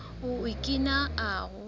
o okina ahu